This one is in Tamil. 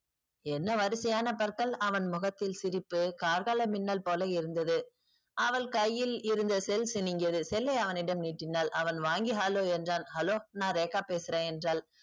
என்ன வரிசையான பற்கள் அவன் முகத்தில் சிரிப்பு கார்கால மின்னல் போல இருந்தது. அவள் கையில் இருந்த cell சினுக்கியது cell ஐ அவனிடம் நீட்டினால் அவன் வாங்கி hello என்றான். hello நா ரேகா பேசுறேன் என்றால்